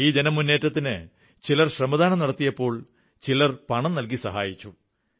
ഈ ജനമുന്നേറ്റത്തിന് ചിലർ ശ്രമദാനം ചെയ്തപ്പോൾ ചിലർ ധനം നല്കി സഹായിച്ചു